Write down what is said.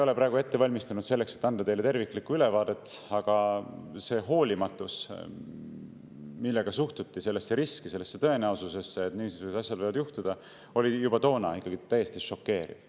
Ma ei ole praegu ette valmistanud selleks, et anda teile terviklikku ülevaadet, aga see hoolimatus, millega suhtuti sellesse riski, sellesse tõenäosusesse, et niisugused asjad võivad juhtuda, oli juba toona täiesti šokeeriv.